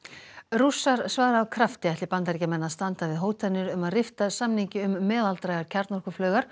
rússar svara af krafti ætli Bandaríkjamenn að standa við hótanir um að rifta samningi um meðaldrægar